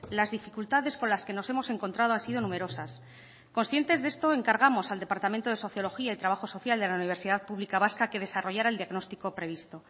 las dificultades con las que nos hemos encontrado ha sido numerosas conscientes de esto encargamos al departamento de sociología y trabajo social de la universidad pública vasca que desarrollara el diagnóstico previsto